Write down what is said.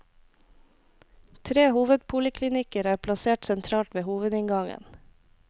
Tre hovedpoliklinikker er plassert sentralt ved hovedinngangen.